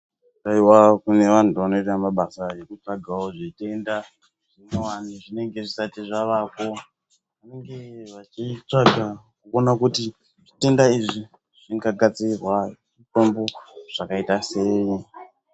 Haiwa kune vandu vanoita basa rekutsvaka zvitenda zvinyowani zvinenge zvisati zvavapo kunge vachitsvaga kuona kuti zvitenda izvi zvingagadzirwa mutombo sei